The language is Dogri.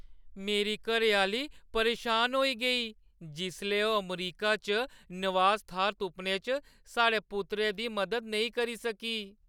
मेरी घरैआह्‌ली परेशान होई गेई जिसलै ओह् अमरीका च नवास-थाह्‌र तुप्पने च साढ़े पुत्तरै दी मदद नेईं करी सकी।